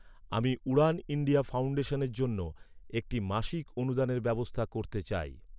আমি উড়ান ইন্ডিয়া ফাউন্ডেশনের জন্য, একটি মাসিক অনুদানের ব্যবস্থা করতে চাই।